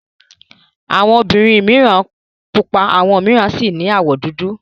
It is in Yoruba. Awọn obìnrin mìíràn pupa àwọn mìíràn sì ní àwọ̀ dúdú.